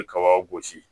I bɛ kaba gosi